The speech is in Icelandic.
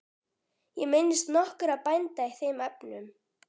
Ég minnist nokkurra bænda í þeim efnum.